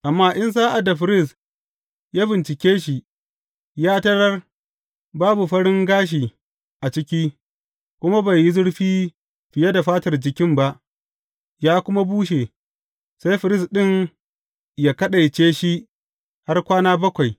Amma in sa’ad da firist ya bincike shi, ya tarar babu farin gashi a ciki, kuma bai yi zurfi fiye da fatar jikin ba, ya kuma bushe, sai firist ɗin ya kaɗaice shi har kwana bakwai.